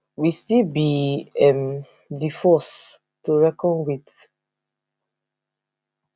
we still be um di force to be reckoned wit